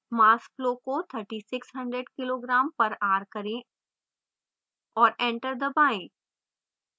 mass flow को 3600 kg/hour करें और enter दबाएँ